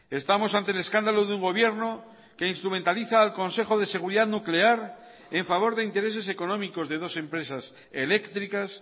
estamos ante el escándalo de un gobierno que instrumentaliza al consejo de seguridad nuclear en favor de intereses económicos de dos empresas eléctricas